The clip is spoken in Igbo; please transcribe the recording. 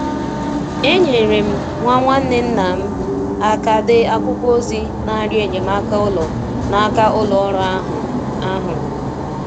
Enyere um m nwa nwanne nna um m um aka dee akwụkwọ ozi n'arịọ enyemaka ụlọ n'aka ụlọ ọrụ ahụ. ahụ.